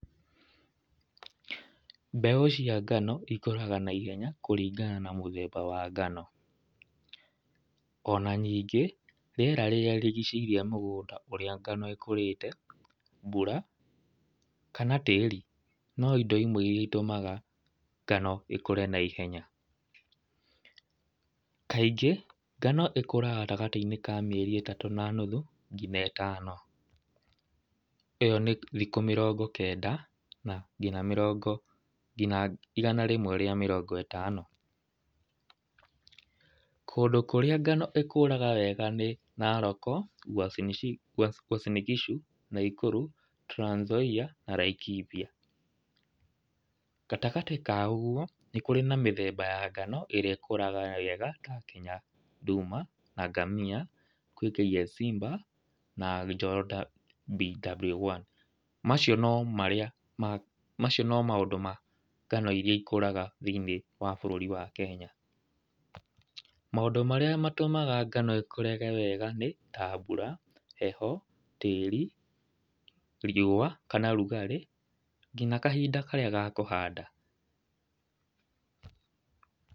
Mbegũ cia ngano ĩkũraga na ihenya kũringana na mũthemba wa ngano. Ona ningĩ rĩera rĩrĩa rĩrigicĩirie mũgũnda ũrĩa ngano ikũrĩte, mbura, kana tĩri. No indo imwe iria itũmaga ngano ĩkũre na ihenya. Kaingĩ, ngano ĩkũraga gatagatĩinĩ kamĩeri ĩtatũ na nuthu nginya ĩtano. Ĩyo nĩ thikũ mĩrongo kenda nginya mĩrongo nginya igana rĩmwe rĩa mĩrongo ĩtano. Kũndũ kũrĩa ngano ĩkũraga wega nĩ Narok, Uasin Gishu, Nakuru, Trans Zoia na Laikipia. Gatagatĩ ka ũguo, nĩ kũrĩ na mĩthemba ya ngano, ĩrĩa ĩkũraga wega nginya nduma, angamia, kwĩ kfsimba, na nyota bw1. Macio no marĩa macio no maũndũ ma ngano iria ikũraga thĩinĩ wa bũrũri wa Kenya. Maũndũ marĩa matũmaga ngano ĩkũre wega nĩ ta mbura, heho, tĩri, riũa, kana rugarĩ, nginya kahinda karĩa ga kũhanda.